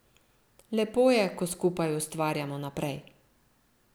Lepo je, ko skupaj ustvarjamo naprej.